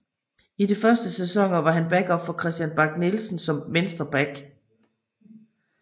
I de første sæsonern var han backup for Kristian Bak Nielsen som venstre back